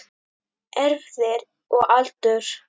Erfðir og aldur